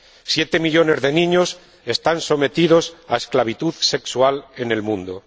siete millones de niños están sometidos a esclavitud sexual en el mundo.